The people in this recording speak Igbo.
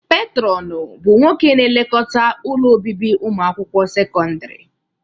Petrọnu bụ nwoke na-elekọta ụlọ obibi ụmụakwụkwọ sekọndrị.